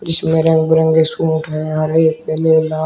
जिसमे रंग बिरंगे सूट है हरे पीले लाल।